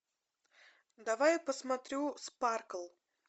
давай посмотрю спаркл